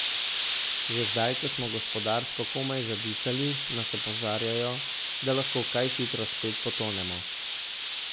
Že zdaj, ko smo gospodarsko komaj zadihali, nas opozarjajo, da lahko kaj hitro spet potonemo.